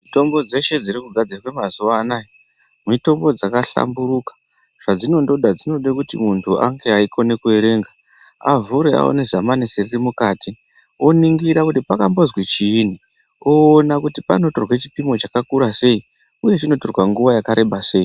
Mitombo dzeshe dziri kugadzira mazuva anawa mitombo dzakahlamburuka zvadzinongods dzinoda kuti muntu ange eikona kuerenga avhure aone zamanesheni riri mukati oningira kuti pakambozi chinyi Oona kuti panotorwa chipimo chakakura sei uye chinotorwa nguwa yakareba sei.